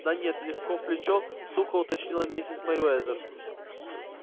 да нет легко в плечо сухо уточнила миссис мерриуэзер